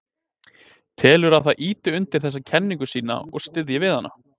Telurðu að það ýti undir þessa kenningu þína og styðji við hana?